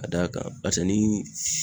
Ka d'a kan barisa ni